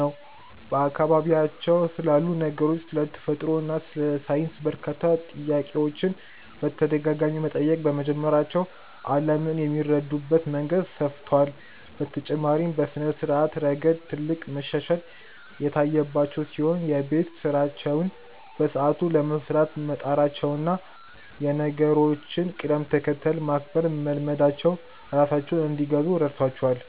ነው፤ በአካባቢያቸው ስላሉ ነገሮች፣ ስለ ተፈጥሮ እና ስለ ሳይንስ በርካታ ጥያቄዎችን በተደጋጋሚ መጠየቅ በመጀመራቸው ዓለምን የሚረዱበት መንገድ ሰፍቷል። በተጨማሪም በስነ-ስርዓት ረገድ ትልቅ መሻሻል የታየባቸው ሲሆን፣ የቤት ስራቸውን በሰዓቱ ለመስራት መጣራቸውና የነገሮችን ቅደም-ተከተል ማክበር መልመዳቸው ራሳቸውን እንዲገዙ ረድቷቸዋል።